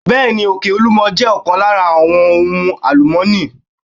Bẹẹni, Òkè olúmo jẹ́ ọ̀kan lára àwọn ohun àlùmọ́ni.